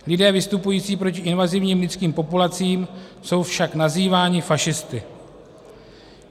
Lidé vystupující proti invazivním lidským populacím jsou však nazýváni fašisty.